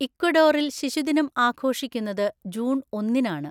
ഇക്വഡോറിൽ ശിശുദിനം ആഘോഷിക്കുന്നത് ജൂൺ ഒന്നിന് ആണ്.